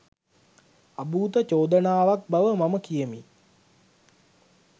අභූත චෝදනාවක් බව මම කියමි.